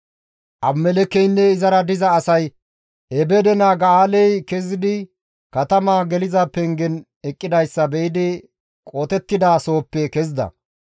Abimelekkeynne izara diza asay Ebeede naa Ga7aaley kezidi katama geliza pengen eqqidayssa be7idi qotettida sohoppe kezida.